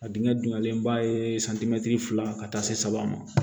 A dingɛ dunyalen ba ye santimɛtiri fila ka taa se saba ma